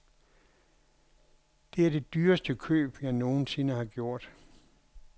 Det er det dyreste køb, jeg nogen sinde har gjort.